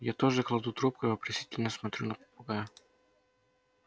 я тоже кладу трубку и вопросительно смотрю на попугая